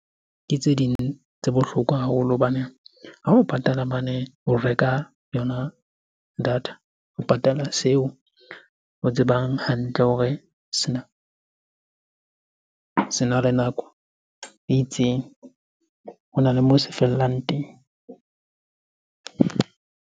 Ke tse ding tse bohlokwa haholo. Hobane ha o patala mane o reka yona data, o patala seo o tsebang hantle o hore sena le nako e itseng. Hona le moo se fellang teng.